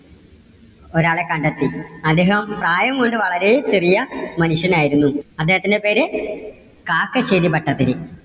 ഒരാളെ കണ്ടെത്തി. അദ്ദേഹം പ്രായം കൊണ്ട് വളരെ ചെറിയ മനുഷ്യനായിരുന്നു. അദ്ദേഹത്തിന്‍ടെ പേര് കാക്കശ്ശേരി ഭട്ടതിരി.